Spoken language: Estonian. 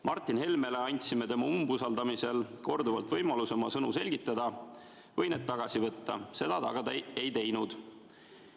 Martin Helmele andsime tema umbusaldamisel korduvalt võimaluse oma sõnu selgitada või need tagasi võtta, seda ta aga ei teinud.